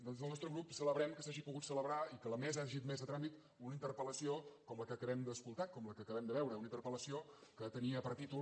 des del nostre grup celebrem que s’hagi pogut celebrar i que la mesa hagi admès a tràmit una interpel·lació com la que acabem d’escoltar com la que acabem de veure una interpel·lació que tenia per títol